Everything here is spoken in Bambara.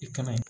I kana